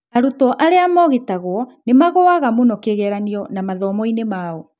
arutwo aria mogitagwo nĩmagũaga mũno kĩgeranio na mathomo-inĩ mao.